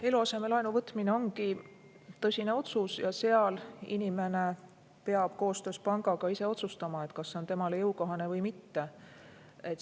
Eluasemelaenu võtmine ongi tõsine otsus ja seal inimene peab koostöös pangaga ise otsustama, kas see on temale jõukohane või mitte.